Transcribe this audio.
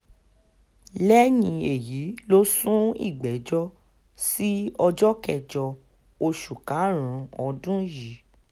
lẹ́yìn èyí ló sún ìgbẹ́jọ́ sí ọjọ́ kẹjọ oṣù karùn-ún ọdún yìí